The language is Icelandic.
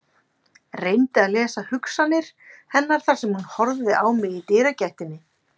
Reyndi að lesa hugsanir hennar þar sem hún horfði á mig í dyragættinni.